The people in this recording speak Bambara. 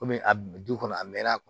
Komi a du kɔnɔ a mɛnna a kun